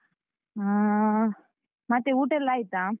ಹಾ, ಮತ್ತೆ ಊಟ ಎಲ್ಲ ಆಯಿತಾ?